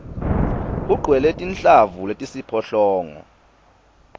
ugcwele tinhlavu letisiphohlongo